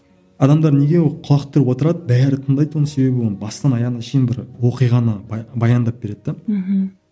адамдар неге ол құлақ түріп отырады бәрі тыңдайды оны себебі оны бастан аяғына шейін бір оқиғаны баяндап береді де мхм